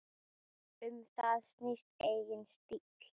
Um það snýst eigin stíll.